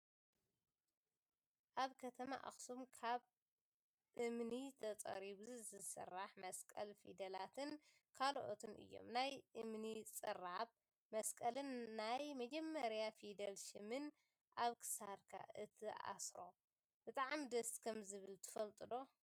ኣብ ከተማ ኣክሱም ካብ እምኒ ተፀሪቡ ዝስራሕ መስቀል ፊደላትን ካልኦትን እዮም። ናይ እምኒ ፅራብ መስቀልን ናይ መጀመርያ ፊደል ሽምን ኣብ ክሳድካ ክትኣስሮ ብጣዕሚ ደስ ከምዝብል ትፈልጡ ዶ?